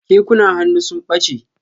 Kekunan hannu sun ɓache.